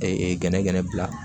gɛnɛgɛnɛ bila